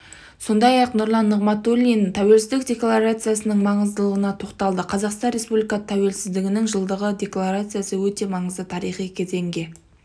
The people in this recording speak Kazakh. сондай-ақ нұрлан нығматуллин тәуелсіздік декларациясының маңыздылығына тоқталды қазақстан республикасы тәуелсіздігінің жылдығы декларациясы өте маңызды тарихи кезеңге